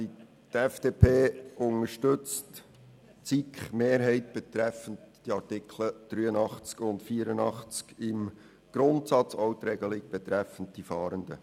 Die FDP unterstützt die SiKMehrheit betreffend die Artikel 83 und 84 im Grundsatz, auch die Regelung betreffend die Fahrenden.